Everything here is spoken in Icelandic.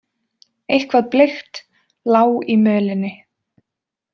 Eitthvað bleikt lá í mölinni.